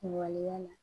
Kuŋoloya la